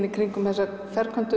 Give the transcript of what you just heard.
í kringum þessa